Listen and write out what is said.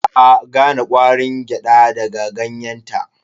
Ba a gane ƙwarin gyada daga ganyenta.